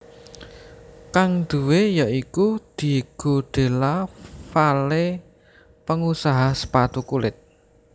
Kang duwé ya iku Diego Della Valle pengusaha sepatu kulit